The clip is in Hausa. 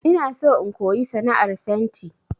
Ina so in koyi sana'ar fenti